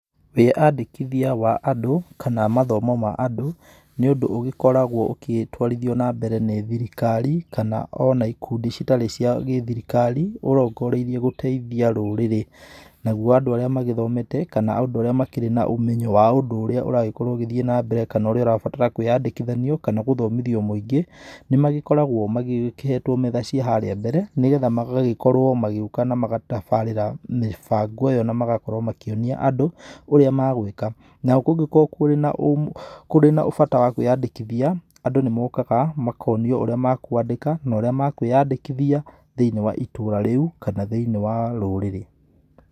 Wĩandĩkithia wa andũ kana mathomo ma andũ, nĩ ũndũ ũgĩkoragũo ũkĩtwarithio na mbere nĩ thirikari, kana ona ikundi citarĩ cia gĩ-thirikari, ũrongoreirie gũteithia rũrĩrĩ. Naguo andũ arĩa magĩthomete kana andũ arĩa makĩrĩ na ũmenyo wa ũndũ ũrĩa ũragĩthiĩ na mbere kana ũrĩa ũrabatara kũĩandĩkithanio, kana gũthomithio mũingĩ, nĩmagĩoragũo mahetwo metha cia haria mbere, nĩgetha magagikorũo magĩũka na magatabarĩra mĩbango ĩyo na magakorũo makĩonia andũ, ũrĩa magũĩka. Nao kungĩkorũo kũrĩ na kũrĩ na bata wa kũĩandĩkithia andũ nĩmokaga na makonio ũrĩa makũandĩka na ũrĩa makũĩandĩkithia thĩiniĩ wa itũra rĩu, kana thĩiniĩ wa rũrĩrĩ